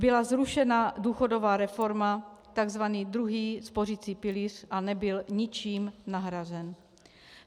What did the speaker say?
Byla zrušena důchodová reforma, tzv. druhý spořicí pilíř, a nebyl ničím nahrazen.